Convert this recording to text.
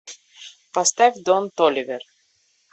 поставь дон толивер